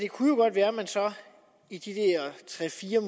kunne være at man så i de der tre fire